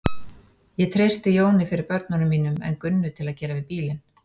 Ég treysti Jóni fyrir börnunum mínum en Gunnu til að gera við bílinn.